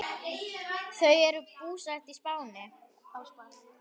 Þau eru búsett á Spáni.